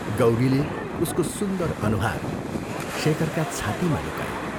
गौरीले उसको सुन्दर अनुहार शेखरका छातीमा लुकाई।